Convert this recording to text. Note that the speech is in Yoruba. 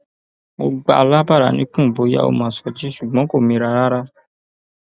mo gbà á lábàrá níkùn bóyá ó máa sọjí ṣùgbọn kò mira rárá